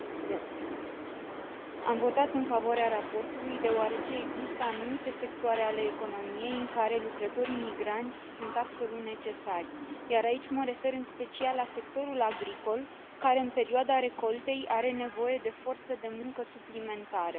Doamnă președinte, am votat în favoarea raportului, deoarece există anumite sectoare ale economiei în care lucrătorii migranți sunt absolut necesari, iar aici mă refer în special la sectorul agricol, care, în perioada recoltei, are nevoie de forță de muncă suplimentară.